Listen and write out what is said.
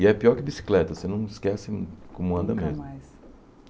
E é pior que bicicleta, você não esquece como anda mesmo. Nunca mais